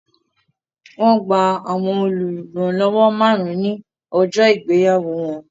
Wọn gba àwọn oluranlowo márùn-ún ní ọjọ́ ìgbéyàwó wọn